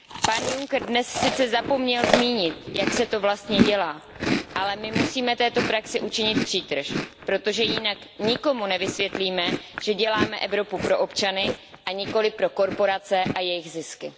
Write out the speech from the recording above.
Pan Juncker dnes sice zapomněl zmínit, jak se to vlastně dělá, ale my musíme této praxi učinit přítrž, protože jinak nikomu nevysvětlíme, že děláme Evropu pro občany, a nikoliv pro korporace a jejich zisky.